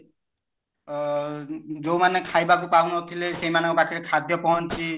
ଅ ଯୋଉ ମାନେ ଖାଇବାକୁ ପାଉନଥିଲେ ସେମାନଙ୍କ ପାଖରେ ଖାଦ୍ଯ ପହଞ୍ଚି